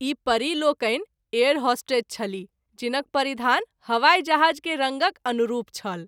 ई परि लोकनि air hostess छलीह जिनक परिधान हवाई जहाज़ के रंगक अनुरूप छल।